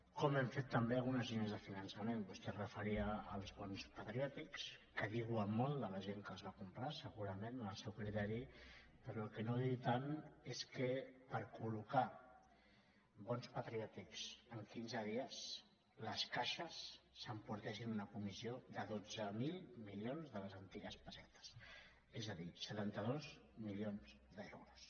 com hem fet també algunes línies de finançament vostè es referia als bons patriò tics que diuen molt de la gent que els va comprar segurament en el seu criteri però el que no diu tant és que per collocar bons patriòtics en quinze dies les caixes s’emportessin una comissió de dotze mil milions de les antigues pessetes és a dir setanta dos milions d’euros